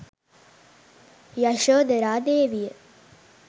යශෝධරා දේවිය